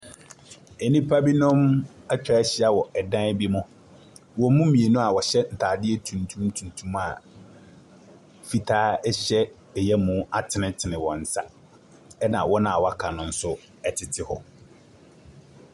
Nnipa binom atwa ahyia wɔ dan bi mu. Wɔn mu mmienu a wɔhyɛ ataadeɛ tuntum tuntum a fitaa ɛhyɛ ɛyamu atenetene wɔn nsa. Ɛna wɔn a wɔaka nso tete hɔ.